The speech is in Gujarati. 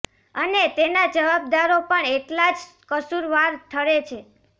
અને તેના જવાબદારો પણ એટલા જ કસૂરવાર ઠરે છે